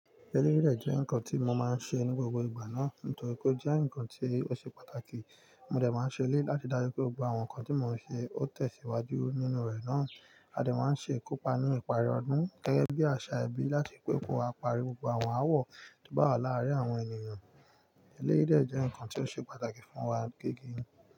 Eléyìí dẹ̀ jẹ́ nǹkan tí mo máa ń ṣe ní gbogbo ìgbà náà, nítorí pó jẹ́ nǹkan tí ó ṣe pàtàkì. Mo dẹ̀ máa ń ṣe lèyi láti dájú pé gbogbo àwọn nǹkan tí mo ń ṣe ó tẹ̀síwájú nínú rẹ̀ náà. A dẹ̀ máa ń ṣe ìkópa ní ìparí ọdún gẹ́gẹ́ bí àṣà ẹbí láti pè pé wa pari gbogbo àwọn ááwọ̀ tó bá wà láàárín àwọn ènìyàn. Elérìí dẹ̀ jẹ́ nǹkan tí ó ṣe pàtàkì fún wa.